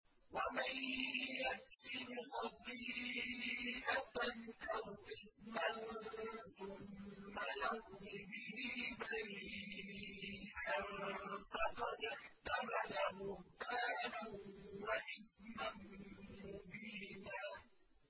وَمَن يَكْسِبْ خَطِيئَةً أَوْ إِثْمًا ثُمَّ يَرْمِ بِهِ بَرِيئًا فَقَدِ احْتَمَلَ بُهْتَانًا وَإِثْمًا مُّبِينًا